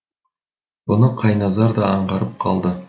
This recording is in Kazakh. бұны қайназар да аңғарып қалды